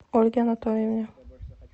ольге анатольевне